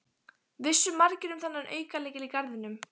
Vissu margir um þennan aukalykil í garðinum?